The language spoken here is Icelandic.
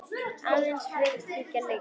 Aðeins var leikinn einn leikur.